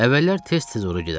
Əvvəllər tez-tez ora gedərdim.